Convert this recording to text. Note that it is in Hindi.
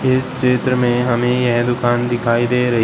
इस क्षेत्र में हमें यह दुकान दिखाई दे रही--